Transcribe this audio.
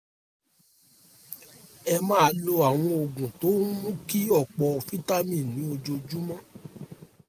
ẹ máa lo àwọn oògùn tó ń mú kí ọ̀pọ̀ vitamin ní ojoojúmọ́